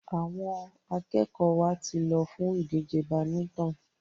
Àwọn akẹ́kọ̀ọ́ wa ti lọ fún ìdíje badminton.